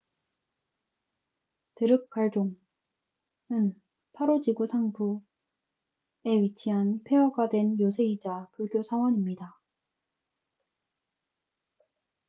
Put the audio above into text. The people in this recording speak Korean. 드룩갈종drukgyal dzong은 파로 지구 상부phondey 마을에 위치한 폐허가 된 요새이자 불교 사원입니다